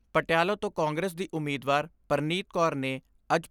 ਪਟਿਆਲਾ ਤੋਂ ਕਾਂਗਰਸ ਦੀ ਉਮੀਦਵਾਰ ਪਰਨੀਤ ਕੌਰ ਨੇ ਅੱਜ